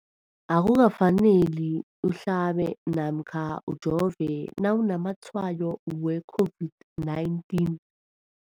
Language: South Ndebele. Akuka faneli uhlabe namkha ujove nawu namatshayo we-COVID-19.